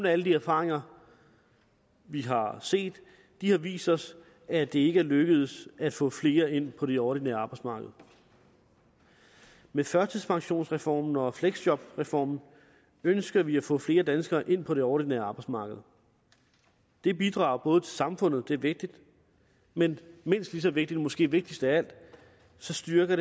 alle de erfaringer vi har set har vist os at det ikke er lykkedes at få flere ind på det ordinære arbejdsmarked med førtidspensionsreformen og fleksjobreformen ønsker vi at få flere danskere ind på det ordinære arbejdsmarked det bidrager til samfundet og det er vigtigt men mindst lige så vigtigt og måske vigtigst af alt styrker